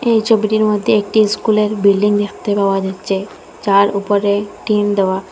এই ছবিটির মধ্যে একটি স্কুলের বিল্ডিং দেখতে পাওয়া যাচ্ছে যার উপরে টিন দেওয়া।